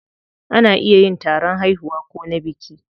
Ana iya yin taron haihuwa ko na biki.